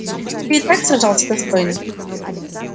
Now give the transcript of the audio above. ты и так сражался достойно